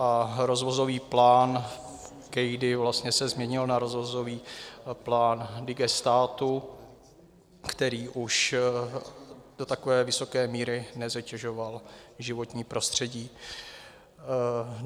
A rozvozový plán kejdy vlastně se změnil na rozvozový plán digestátu, který už do takové vysoké míry nezatěžoval životní prostředí.